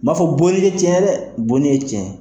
N m'a fɔ bonni tɛ tiɲɛn ye dɛ, boni ye tiɲɛn ye.